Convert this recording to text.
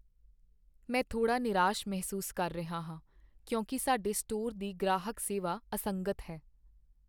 ਮੈਂ ਥੋੜ੍ਹਾ ਨਿਰਾਸ਼ ਮਹਿਸੂਸ ਕਰ ਰਿਹਾ ਹਾਂ ਕਿਉਂਕਿ ਸਾਡੇ ਸਟੋਰ ਦੀ ਗ੍ਰਾਹਕ ਸੇਵਾ ਅਸੰਗਤ ਹੈ।